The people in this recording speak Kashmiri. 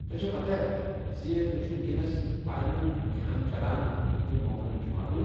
تۄہہ چھوٕ پتاہ زِ تُہۍ چھِوٕ وُنِكین فاینل امتحان چلان تہٕ تِم مۄکلن جمعہ دۄہ ۔